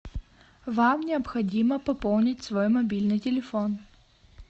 вам необходимо пополнить свой мобильный телефон